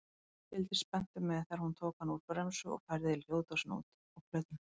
Fylgdist spenntur með þegar hún tók hann úr bremsu og færði hljóðdósina út á plötuna.